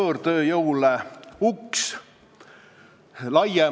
Kui meil keeleseadusest tulenevaid nõudeid ei täideta, siis me alati näeme seda.